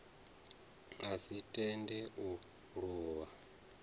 a si tende u luvha